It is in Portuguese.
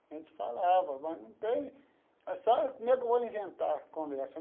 A gente falava, mas não tem... Sabe como é que eu vou inventar a conversa?